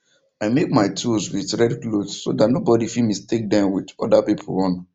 i make my tools with red cloth so that no body fit mistake them with other pipo own